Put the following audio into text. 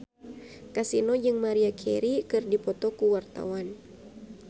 Kasino jeung Maria Carey keur dipoto ku wartawan